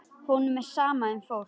Honum er sama um fólk.